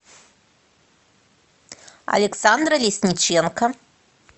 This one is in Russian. александра лесниченко